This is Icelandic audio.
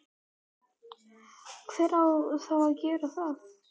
hver á þá að gera það?